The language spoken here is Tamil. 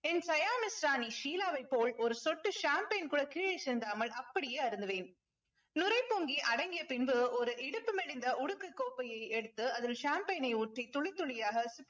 ஷீலாவை போல் ஒரு சொட்டு champagne கூட கீழே சிந்தாமல் அப்படியே அருந்துவேன். நுரை பொங்கி அடங்கிய பின்பு ஒரு இடுப்பு மெலிந்த உடுக்கு கோப்பையை எடுத்து அதில் champagne ஐ ஊற்றி துளி துளியாக